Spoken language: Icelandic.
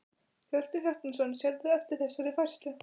Hjörtur Hjartarson: Sérðu eftir þessari færslu?